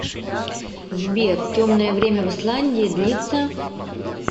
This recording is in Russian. сбер темное время в исландии длится